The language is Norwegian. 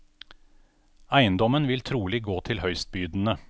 Eiendommen vil trolig gå til høystbydende.